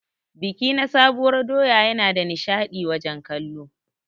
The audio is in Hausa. Biki na sabuwar doya Yana da nishadi wajen kallo.